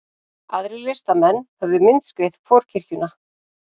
Aðrir listamenn höfðu myndskreytt forkirkjuna